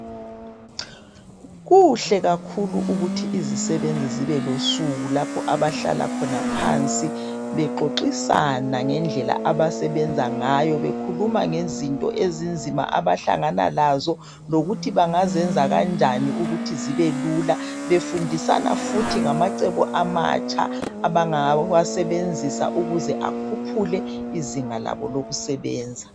Kuhle kakhulu ukuthi izisebenzi zibe losuku lapho abahlala khona phansi bexoxisana ngendlela abasebenza ngayo bekhulumisana ngezinto ezinzima abahlangana lazo lokuthi bangazenza kanjani ukuthi zibelula befundisana ngamacebo amatsha abangawa sebenzisa ukuze akhuphule izinga labo lokusebenza